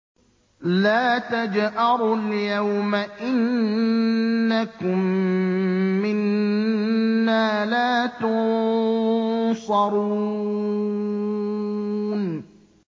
لَا تَجْأَرُوا الْيَوْمَ ۖ إِنَّكُم مِّنَّا لَا تُنصَرُونَ